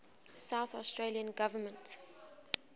south australian government